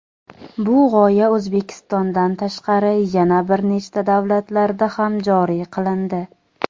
Bu g‘oya O‘zbekistondan tashqari yana bir nechta davlatlarda ham joriy qilindi.